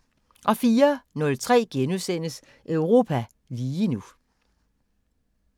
04:03: Europa lige nu *